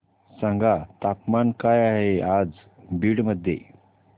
सांगा तापमान काय आहे आज बीड मध्ये